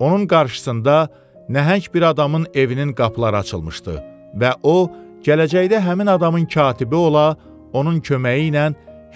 Onun qarşısında nəhəng bir adamın evinin qapıları açılmışdı və o, gələcəkdə həmin adamın katibi ola, onun köməyi ilə